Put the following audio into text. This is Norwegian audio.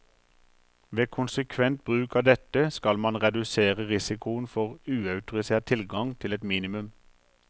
Ved konsekvent bruk av dette, skal man redusere risikoen for uautorisert tilgang til et minimum.